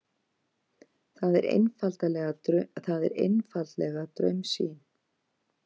Það er einfaldlega draumsýn.